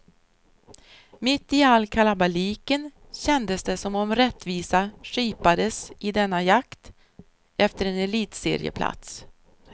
Mitt i all kalabaliken kändes det som om rättvisa skipades i denna jakt efter en elitserieplats.